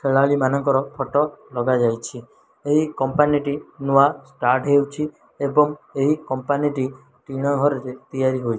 ଖେଳାଳୀମାନଙ୍କର photo ଲଗାଯାଇଛି। ଏହି company ଟି ନୂଆ ଷ୍ଟାଟ୍ ହେଉଛି। ଏବଂ ଏହି କମ୍ପାନୀ ଟି ଟିଣ ଘରରେ ତିଆରି ହୋଇ --